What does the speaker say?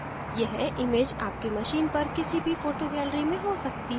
यह image आपके machine पर किसी भी photo gallery में हो सकती है